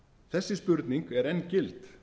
þessi spurning er enn gild